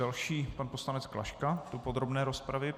Další pan poslanec Klaška do podrobné rozpravy.